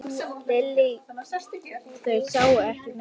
Lillý: Þeir sáu ekki neitt?